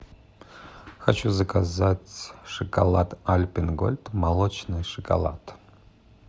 хочу заказать шоколад альпен гольд молочный шоколад